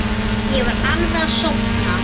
Ég var alveg að sofna.